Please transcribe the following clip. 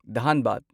ꯙꯥꯟꯕꯥꯗ